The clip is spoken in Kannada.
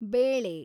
ಬೇಳೆ